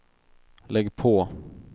lägg på